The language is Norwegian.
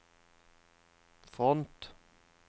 front